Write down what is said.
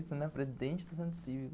presidente do estudantil,